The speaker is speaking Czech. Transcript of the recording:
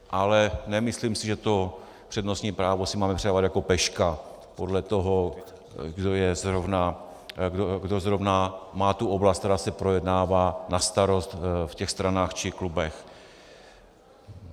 Ale nemyslím si, že to přednostní právo si máme předávat jako peška podle toho, kdo zrovna má tu oblast, která se projednává, na starost v těch stranách či klubech.